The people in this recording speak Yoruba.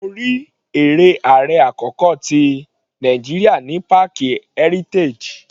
Mo rí eré ààrẹ àkọ́kọ́ tí Nàìjíríà ní páàkì Heritage.